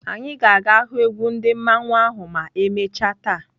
Anyị ga-aga hụ egwu mmanwụ ndị ahụ ma emechaa taa.